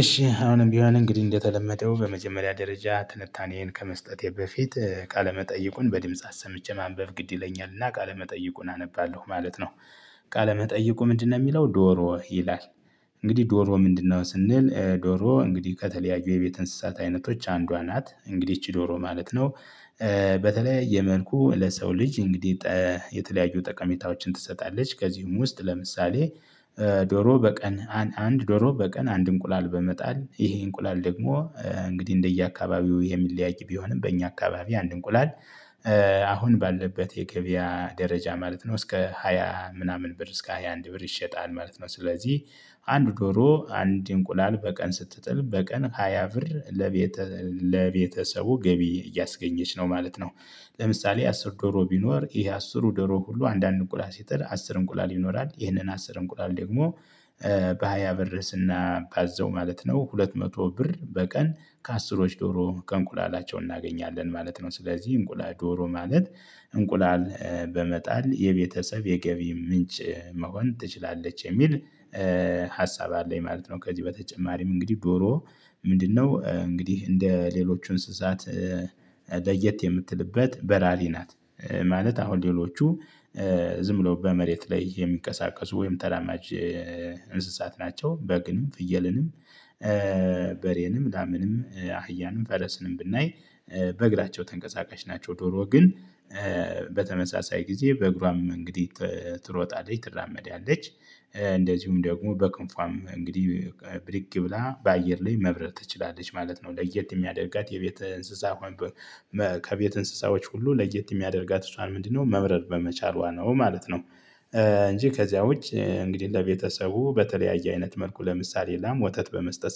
እሺ አሁንም ቢሆን እንግዲህ እንደተለመደው በመጀመሪያ ደረጃ ትንታኔዬን ከመስጠቴ በፊት ቃለመጠይቁን በድምጽ አሰምቼ ማንበብ ግድ ይለኛልና ቃለ መጠይቁን አነባለሁ ማለት ነው። ቃለ መጠይቁ ምንድነው የሚለው ዶሮ ይላል። እንግዲህ ዶሮ ምንድነው ስንል ዶሮ እንግዲህ ከተለያዩ የቤት እንስሳት አይነቶች አንዷ ናት እንግዲህ ይቺ ዶሮ ማለት ነው። በተለያየ መልኩ ለሰው ልጅ እንግዲህ የተለያዩ ጠቀሜታዎችን ትሰጣለች። ከዚህም ውስጥ ለምሳሌ። ዶሮ በቀን አንድ ዶሮ በቀን አንድ እንቁላል በመጣል ይሄ እንቁላል ደግሞ እንግዲህ እንደየአካባቢው የሚለያይ ቢሆንም በእኛ አካባቢ አንድ እንቁላል። አሁን ባለበት የገበያ ደረጃ ማለት ነው እስከ ሃያ ምናምን ብር እስከ ሃያ አንድ ብር ይሸጣል ማለት ነው። ስለዚህ አንድ ዶሮ አንድ እንቁላል በቀን ስትጥል በቀን ሃያ ብር ለቤተ ለቤተሰቡ ገቢ እያስገኘች ነው ማለት ነው። ለምሳሌ አስር ዶሮ ቢኖር ይሄ አስሩ ዶሮ ሁሉ አንዳንድ እንቁላል ሲጥል አስር እንቁላል ይኖራል ይህንን አስር እንቁላል ደግሞ በሃያ ብር ስናባዘው ማለት ነው ሁለት መቶ ብር በቀን ከአስሮች ዶሮ ከእንቁላላቸው እናገኛለን ማለት ነው። ስለዚህ እንቁላል ዶሮ ማለት እንቁላል በመጣል የቤተሰብ የገቢ ምንጭ መሆን ትችላለች የሚል ሀሳብ አለኝ ማለት ነው። ከዚህ በተጨማሪም እንግዲህ ዶሮ ምንድነው እንግዲህ እንደ ሌሎቹ እንስሳት ለየት የምትልበት በራሪ ናት። ማለት አሁን ሌሎቹ ዝም ብሎ በመሬት ላይ የሚቀሳቀሱ ወይም ተራማጅ እንስሳት ናቸው። በግንም ፍየልንም በሬንም ላምንም አህያንም ፈለስንም ብናይ በእግራቸው ተንቀሳቃሽ ናቸው። ዶሮ ግን በተመሳሳይ ጊዜ በእግሯም እንግዲህ ትሮጣለች ትራመዳለች እንደዚሁም ደግሞ በክንፏም እንግዲህ ብድግ ብላ በአየር ላይ መብረር ትችላለች ማለት ነው። ለየት የሚያደርጋት የቤት እንስሳ ከቤት እንስሳዎች ሁሉ ለየት የሚያደርጋት እሷን ምንድነው መብረር በመቻሏ ነው ማለት ነው። እንጂ ከዚያ ውጭ እንግዲህ ለቤተሰቡ በተለያየ አይነት መልኩ ለምሳሌ ላም ወተት በመስጠት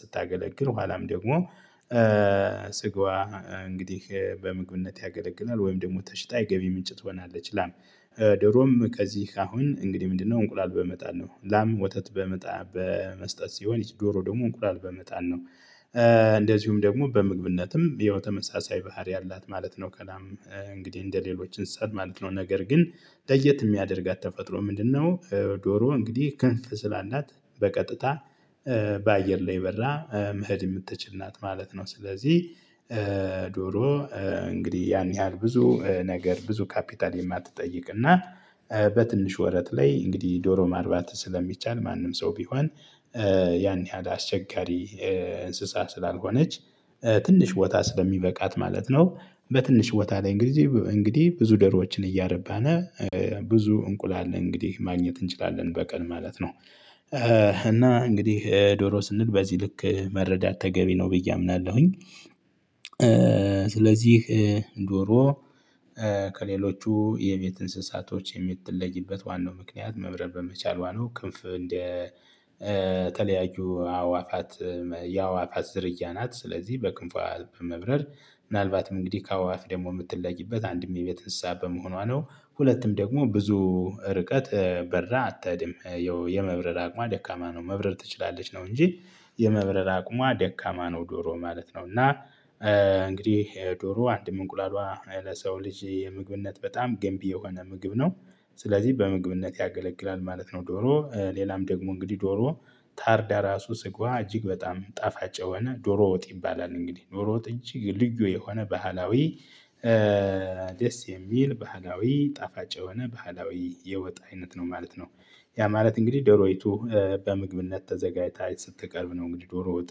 ስታገለግል ኋላም ደግሞ ስጋዋ እንግዲህ በምግብነት ያገለግላል ወይም ደግሞ ተሽጣ የገቢ ምንጭ ትሆናለች። ላም ዶሮም ከዚህ አሁን እንግዲህ ምንድነው እንቁላል በመጣል ነው። ላም ወተት በመጣ በመስጠት ሲሆን ይቺ ዶሮ ደግሞ እንቁላል በመጣል ነው። እንደዚሁም ደግሞ በምግብነትም ያው ተመሳሳይ ባህሪ አላት ማለት ነው። ከላም እንግዲህ እንደሌሎች እንስሳት ማለት ነው ነገር ግን ለየት የሚያደርጋት ተፈጥሮ ምንድነው? ዶሮ እንግዲህ ከንፍ ስላላት በቀጥታ በአየር ላይ በራ መሄድ የምትችል ናት ማለት ነው። ስለዚህ ዶሮ እንግዲህ ያን ያህል ብዙ ነገር ብዙ ካፒታል የማትጠይቅ እና በትንሽ ወረት ላይ እንግዲህ ዶሮ ማርባት ስለሚቻል ማንም ሰው ቢሆን ያን ያህል አስቸጋሪ እንስሳ ስላልሆነች ትንሽ ቦታ ስለሚበቃት ማለት ነው። በትንሽ ቦታ ላይ እንግዲህ እንግዲህ ብዙ ዶሮዎችን እያረባን ብዙ እንቁላል እንግዲህ ማግኘት እንችላለን በቀን ማለት ነው። እና እንግዲህ ዶሮ ስንል በዚህ ልክ መረዳት ተገቢ ነው ብዬ አምናለሁኝ። ስለዚህ ዶሮ ከሌሎቹ የቤት እንስሳቶች የምትለይበት ዋናው ምክንያት መብረር በመቻሏ ነው። ክንፍ እንደተለያዩ አእዋፋት የአእዋፋት ዝርያ ናት ስለዚህ በክንፏ በመብረር ምናልባትም እንግዲህ ከአእዋፍ ደግሞ የምትለይበት አንድም የቤት እንስሳ በመሆኗ ነው። ሁለትም ደግሞ ብዙ ርቀት በራ አትድም የመብረር አቅሟ ደካማ ነው። መብረር ትችላለች ነው እንጂ የመብረር አቅሟ ደካማ ነው ዶሮ ማለት ነው። እና እንግዲህ ዶሮ አንድም እንቁላሏ ለሰው ልጅ የምግብነት በጣም ገንቢ የሆነ ምግብ ነው። ስለዚህ በምግብነት ያገለግላል ማለት ነው። ዶሮ ሌላም ደግሞ እንግዲህ ዶሮ ታርዳ ራሱ ስግዋ እጅግ በጣም ጣፋጭ የሆነ ዶሮ ወጥ ይባላል እንግዲህ ዶሮ ወጥ እጅግ ልዩ የሆነ ባህላዊ ደስ የሚል ባህላዊ ጣፋጭ የሆነ ባህላዊ የወጥ አይነት ነው ማለት ነው። ያ ማለት እንግዲህ ዶሮይቱ በምግብነት ተዘጋጅታ ስትቀርብ ነው እንግዲህ ዶሮወጥ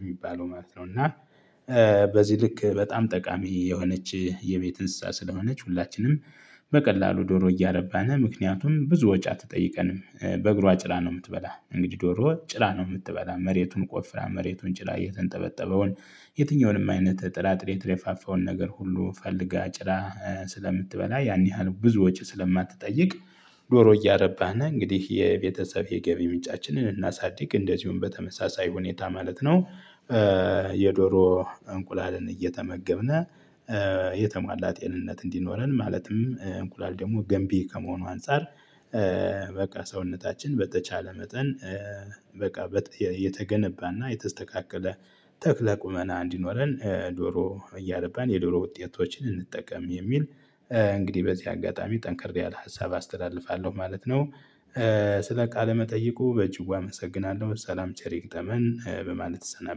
የሚባለው ማለት ነው። እና በዚህ ልክ በጣም ጠቃሚ የሆነች የቤት እንስሳ ስለሆነች ሁላችንም በቀላሉ ዶሮ እያረባን ምክንያቱም ብዙ ወጭ አትጠይቀንም። በእግሯ ጭራ ነው የምትበላ እንግዲህ ዶሮ ጭራ ነው የምትበላ መሬቱን ቆፍራ መሬቱን ጭራ የተንጠበጠበውን የትኛውንም አይነት ጥራጥሬ የተደፋፋውን ነገር ሁሉ ፈልጋ ጭራ ስለምትበላ ያን ያህል ብዙ ወጪ ስለማትጠይቅ ዶሮ እያረባን እንግዲህ የቤተሰብ የገቢ ምንጫችንን እናሳድግ እንደዚሁም በተመሳሳይ ሁኔታ ማለት ነው። የዶሮ እንቁላልን እየተመገብን የተሟላ ጤንነት እንዲኖረን ማለትም እንቁላል ደግሞ ገንቢ ከመሆኑ አንፃር በቃ ሰውነታችን በተቻለ መጠን በቃ የተገነባና የተስተካከለ ተክለ ቁመና እንዲኖረን ዶሮ እያረባን የዶሮ ውጤቶችን እንጠቀም የሚል እንግዲህ በዚህ አጋጣሚ ጠንክሬ ያለ ሀሳብ አስተላልፋለሁ ማለት ነው። ስለ ቃለ መጠይቁ በጭዋ አመሰግናለሁ ሰላም ቸር ይግጠመን በማለት እሰናበታለው